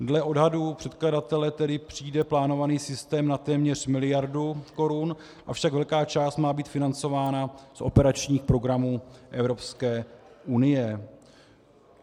Dle odhadů předkladatele tedy přijde plánovaný systém na téměř miliardu korun, avšak velká část má být financována z operačních programů Evropské unie.